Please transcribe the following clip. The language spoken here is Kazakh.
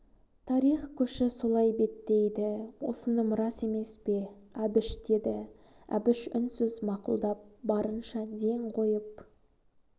тарих көші солай беттейді осыным рас емес пе әбіш деді әбіш үнсіз мақұлдап барынша ден қойып